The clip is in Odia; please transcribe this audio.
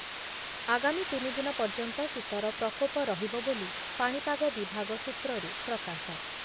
ଆଗାମୀ ତିନି ଦିନ ପର୍ଯ୍ୟନ୍ତ ଶୀତର ପ୍ରକୋପ ରହିବ ବୋଲି ପାଣିପାଗ ବିଭାଗ ସୂତ୍ରରୁ ପ୍ରକାଶ ।